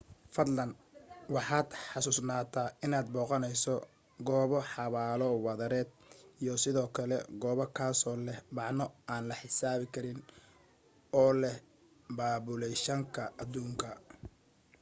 fadlan waxaad xasuusnaataa inaad booqanayso goobo xabaalo wadareed iyo sidoo kale goob kazoo leh macno aan la xisaabi karin u leh baabulayshanka aduunka